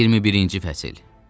21-ci fəsil.